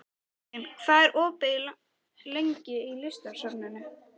Mekkin, hvað er opið lengi í Listasafninu?